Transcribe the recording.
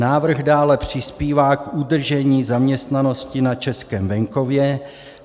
Návrh dále přispívá k udržení zaměstnanosti na českém venkově.